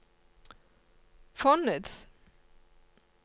fondets